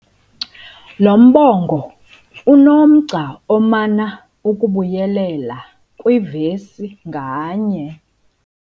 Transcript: Lo mbongo unomgca omana ukubuyelela kwivesi nganye.